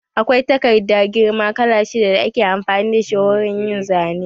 Akwai takarda girma kala shidda da ake amfani da shi wurin yin Zane